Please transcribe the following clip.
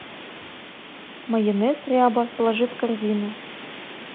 майонез ряба положи в корзину